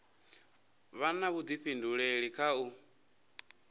vha na vhuḓifhinduleli kha u